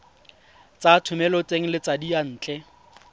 tsa thomeloteng le tsa diyantle